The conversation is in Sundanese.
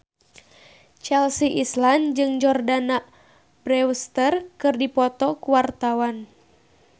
Chelsea Islan jeung Jordana Brewster keur dipoto ku wartawan